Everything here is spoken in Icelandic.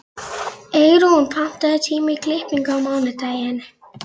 Eyrún, pantaðu tíma í klippingu á mánudaginn.